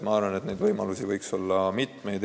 Ma arvan, et võimalusi võiks olla mitmesuguseid.